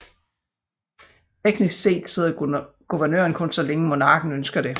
Teknisk set sidder guvernøren kun så længe monarken ønsker det